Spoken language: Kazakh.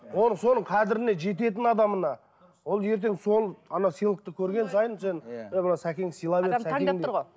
оны соның қадіріне жететін адамына ол ертең сол ана сыйлықты көрген сайын сен е мынау сәкең сыйлап еді